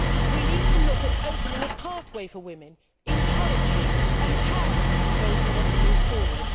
We need to look at opening a pathway for women encouraging and empowering those who want to move forward.